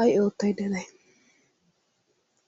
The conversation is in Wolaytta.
ay oottaydda de'ay?